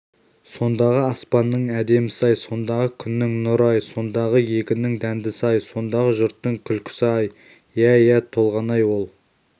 сондағы аспанның әдемісі-ай сондағы күннің нұры-ай сондағы егіннің дәндісі-ай сондағы жұрттың күлкісі-ай иә иә толғанай ол